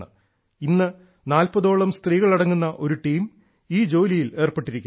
ഇന്ന് നാൽപതോളം സ്ത്രീകൾ അടങ്ങുന്ന ഒരു ടീം ഈ മേഖലയിൽ ഏർപ്പെട്ടിരിക്കുന്നു